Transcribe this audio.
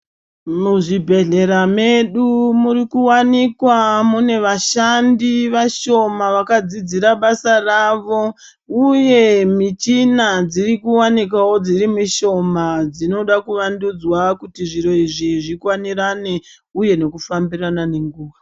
Muzvibhehlera mwedu murikuwanikwa mune vashandi vashoma vakadzidzira basa ravo uye muchina dziri kuwanikwawo dziri mushoma dzinoda kuvandudzwa kuti zviro izvi zvimbambirane uye nekufambidzana nenguwa.